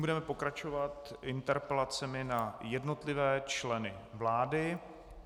Budeme pokračovat interpelacemi na jednotlivé členy vlády.